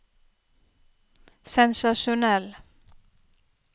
sensasjonell